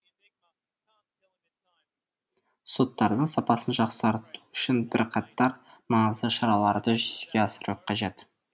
соттардың сапасын жақсарту үшін бірқатар маңызды шараларды жүзеге асыру қажет